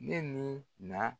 Ne ni na.